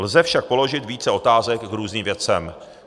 Lze však položit více otázek k různým věcem.